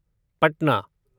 Patna